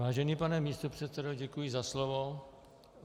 Vážený pane místopředsedo, děkuji za slovo.